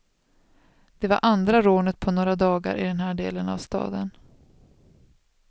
Det var andra rånet på några dagar i den här delen av staden.